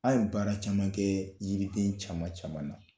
An ye baara caman kɛ yiriden caman caman na